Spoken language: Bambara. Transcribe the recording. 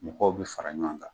Mɔgɔw bi fara ɲɔgɔn kan